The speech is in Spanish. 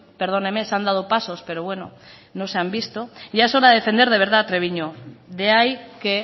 perdóneme se han dado paso pero bueno no se han visto ya es hora de defender de verdad a treviño de ahí que